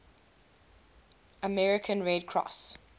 american red cross